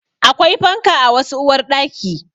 Akwai fanka a wasu uwarɗaki